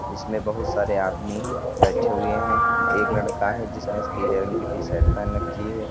इसमें बहुत सारे आदमी बैठे हुए हैं एक लड़का है जिसने पीले रंग की टी शर्ट पहन रखी है।